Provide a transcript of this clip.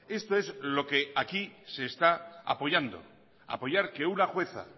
esto es lo que aquí se está apoyando apoyar que una jueza